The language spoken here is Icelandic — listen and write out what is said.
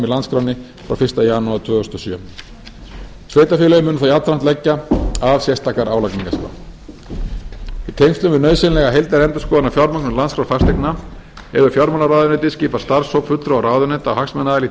landskránni frá fyrsta janúar tvö þúsund og sjö sveitarfélögin munu þá jafnframt leggja af sérstakar álagningarskrár í tengslum við nauðsynlega heildarendurskoðun á á fjármögnun landskrá fasteigna hefur fjármálaráðuneytið skipað starfshóp fulltrúa ráðuneyta og hagsmunaaðila í því